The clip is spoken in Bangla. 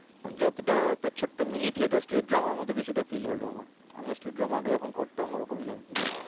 যতোটা একটা ছোট্টো mini theatres street drama র মতো কিছুটা feel হলো আমার। আমি street drama আগে যখন করতাম ওরকমই লাগছিল।